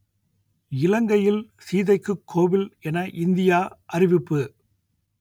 இலங்கையில் சீதைக்குக் கோவில் என இந்தியா அறிவிப்பு